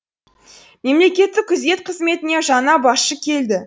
мемлекеттік күзет қызметіне жаңа басшы келді